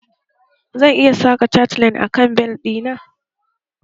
Zan iya saka cateleine a kan bel ɗi na?